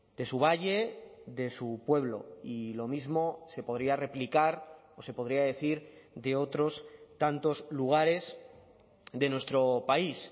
de su valle de su pueblo y lo mismo se podría replicar o se podría decir de otros tantos lugares de nuestro país